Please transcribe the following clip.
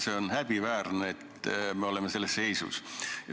See on häbiväärne, et me oleme selles seisus.